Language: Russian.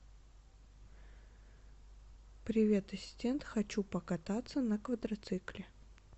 привет ассистент хочу покататься на квадроцикле